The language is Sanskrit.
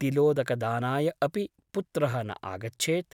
तिलोदकदानाय अपि पुत्रः न आगच्छेत् ।